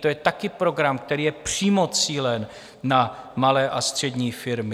To je také program, který je přímo cílen na malé a střední firmy.